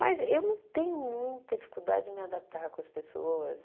Mas eu não tenho muita dificuldade de me adaptar com as pessoas.